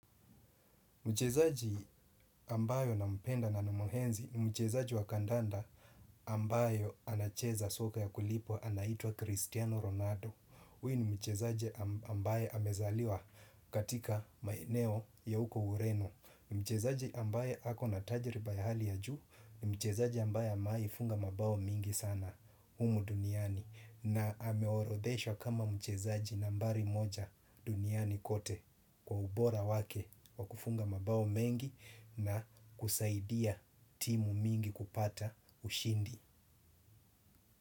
Mchezaji ambayo nampenda na namhenzi ni mchezaji wa kandanda ambayo anacheza soka ya kulipwa, anaitwa Cristiano Ronaldo. Uyu ni mchezaji ambaye amezaliwa katika maeneo ya uko urenu. Ni mchezaji ambaye ako na tajiriba ya hali ya juu ni mchezaji ambaye ameai funga mabao mingi sana umu duniani. Na ameorodheshwa kama mchezaji nambari moja duniani kote. Kwa ubora wake wa kufunga mabao mengi na kusaidia timu mingi kupata ushindi.